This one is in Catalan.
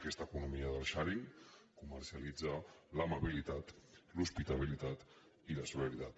aquesta economia del sharing comercialitza l’amabilitat l’hospitalitat i la solidaritat